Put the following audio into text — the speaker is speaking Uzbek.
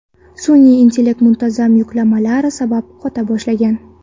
Sun’iy intellekt muntazam yuklamalar sabab qota boshlagan.